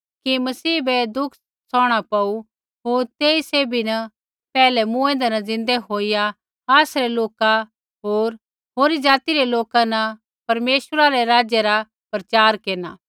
कि मसीह बै दुख च़कणा पौऊ होर तेही सैभी न पैहलै मूँऐंदै न ज़िन्दै होईया आसरै लोका न होर होरी ज़ाति रै लोका न परमेश्वरै रै राज्य रा प्रचार केरना